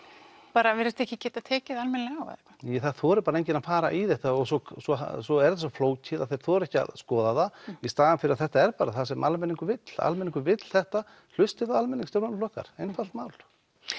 bara virðast ekki geta tekið almennilega á eða hvað nei það þorir bara enginn að fara í þetta og svo svo svo er þetta svo flókið að þeir þora ekki að skoða það í staðinn fyrir að þetta er bara það sem almenningur vill almenningur vill þetta hlustið á almenning stjórnmálaflokkar einfalt mál